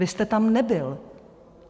Vy jste tam nebyl.